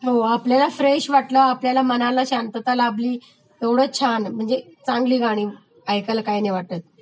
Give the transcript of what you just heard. हो आपल्याला फ्रेश वाटलं, आपल्या मनाला शांतता लाभली तेवढं छान म्हणजे चांगली गाणी ऐकायला काही नाही वाटतं